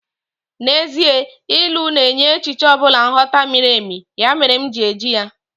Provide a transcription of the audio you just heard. Actually, Proverbs gives deeper meaning to any concept, that's why I am using it.